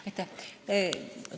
Aitäh!